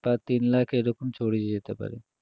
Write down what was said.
বা তিনলাখ এরকম ছড়িয়ে যেতে পারে